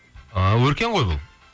ааа өркен ғой бұл